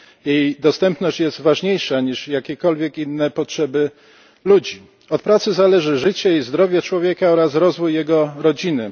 Jej dostępność jest ważniejsza niż jakiekolwiek inne potrzeby ludzi. Od pracy zależy życie i zdrowie człowieka oraz rozwój jego rodziny.